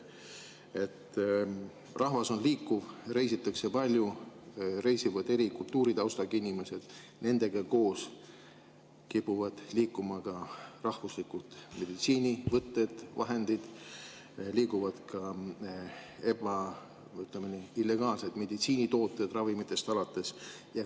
Rahvas on liikuv, reisitakse palju, reisivad eri kultuuritaustaga inimesed, nendega koos kipuvad liikuma ka rahvuslikud meditsiinivõtted ja ‑vahendid, liiguvad ka illegaalsed meditsiinitooted ravimitest alates.